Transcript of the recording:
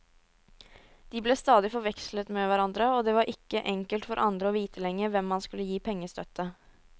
De ble stadig forvekslet med hverandre, og det var ikke enkelt for andre å vite lenger hvem man skulle gi pengestøtte.